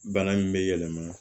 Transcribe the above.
Bana in bɛ yɛlɛma